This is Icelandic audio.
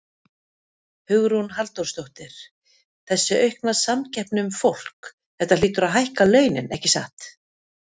Hugrún Halldórsdóttir: Þessi aukna samkeppni um fólk, þetta hlýtur að hækka launin, ekki satt?